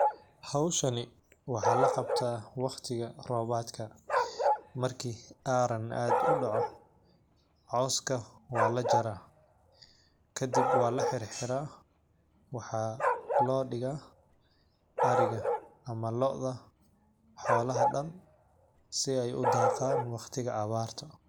Hawshani waxaa la qabtaa waqtiga roobaadka. Markii aaran aad u dhaco, cawska waa la jaraa. Ka dib waa la xirxiraa. Waxaa loo dhigo ariga ama lodha xoolaha dhan si ay u daaqan waqtiga awaarto.